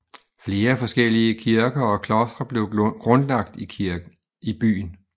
Flere forskellige kirker og klostre blev grundlagt i byen